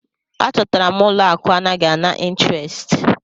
A chọtara m ụlọ akụ anaghị ana intirest.